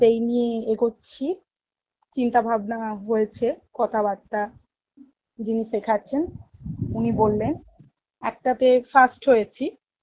সেই নিয়ে এগোচ্ছি চিন্তাভাবনা হয়েছে কথাবার্তা যিনি শেখাচ্ছেন উনি বললেন, একটা তে first হয়েছি,